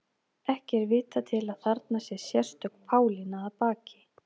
Ekki er vitað til að þarna sé sérstök Pálína að baki.